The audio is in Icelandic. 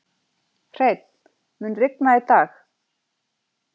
Hreinn, mun rigna í dag?